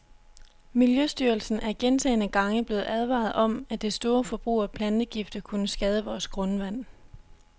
Miljøstyrelsen er gentagne gange blevet advaret om, at det store forbrug af plantegifte kunne skade vores grundvand.